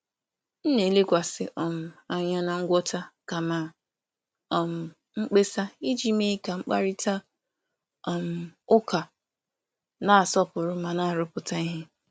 M na-elekwasị um anya na ngwọta kama um mkpesa iji mee ka mkparịta um ụka na-asọpụrụ ma na-arụpụta ihe.